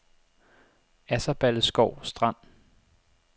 Asserballeskov Strand